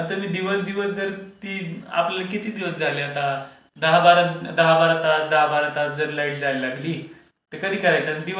तर तुम्ही दिवस दिवस जर आपल्याला किती दिवस झाले आता? दहा बारा, दहा बारा तास दहा बारा तास जर लाईट जायला लागली तर कधी करायचं?